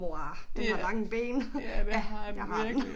Mor den har lange ben ja det har den